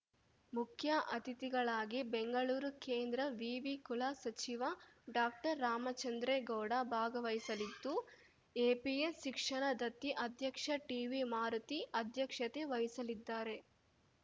ಮುಖ್ಯ ಅತಿಥಿಗಳಾಗಿ ಬೆಂಗಳೂರು ಕೇಂದ್ರ ವಿವಿ ಕುಲ ಸಚಿವ ಡಾಕ್ಟರ್ರಾಮಚಂದ್ರೇಗೌಡ ಭಾಗವಹಿಸಲಿದ್ದು ಎಪಿಎಸ್ ಶಿಕ್ಷಣ ದತ್ತಿ ಅಧ್ಯಕ್ಷ ಟಿವಿ ಮಾರುತಿ ಅಧ್ಯಕ್ಷತೆ ವಹಿಸಲಿದ್ದಾರೆ